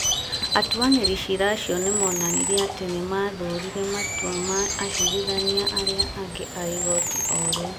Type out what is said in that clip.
Atuanĩri cira acio nĩ moonanirie atĩ nĩ maathũrire matua ma acirithania arĩa angĩ a igooti o rĩu ,